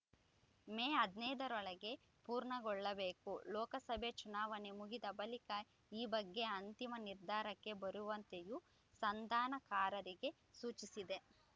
ಮೇ ಹದಿನೈದರೊಳಗೆ ಪೂರ್ಣಗೊಳ್ಳಬೇಕು ಲೋಕಸಭೆ ಚುನಾವಣೆ ಮುಗಿದ ಬಳಿಕ ಈ ಬಗ್ಗೆ ಅಂತಿಮ ನಿರ್ಧಾರಕ್ಕೆ ಬರುವಂತೆಯೂ ಸಂಧಾನಕಾರರಿಗೆ ಸೂಚಿಸಿದೆ